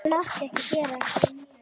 Þetta mátti ekki gerast!